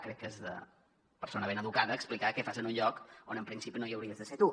crec que és de persona ben educada explicar què fas en un lloc on en principi no hi hauries de ser tu